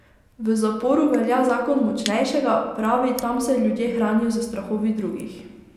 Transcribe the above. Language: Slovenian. V zaporu velja zakon močnejšega, pravi, tam se ljudje hranijo s strahovi drugih.